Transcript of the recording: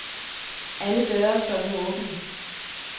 Alle døre står nu åbne.